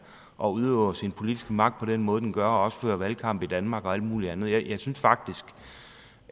og udøver sin politiske magt på den måde den gør og også fører valgkamp i danmark og alt mulig andet jeg synes faktisk